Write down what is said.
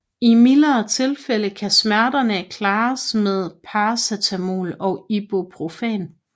I mildere tilfælde kan smerterne klares med paracetamol og Ibuprofen